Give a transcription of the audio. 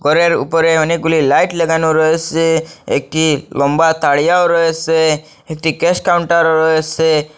ঘরের উপরে অনেকগুলি লাইট লাগানো রয়েসে একটি লম্বা তাড়িয়াও রয়েসে একটি ক্যাশ কাউন্টারও রয়েসে।